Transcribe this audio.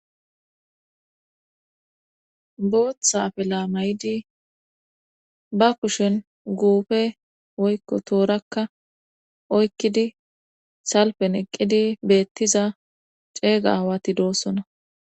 Booththa afila mayidi ba kushen guufe woykko toorakka oykkidi salfen eqqidi beettiza ceega awati doossona.